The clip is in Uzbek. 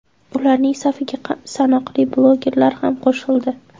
Ularning safiga sanoqli blogerlar ham qo‘shildi.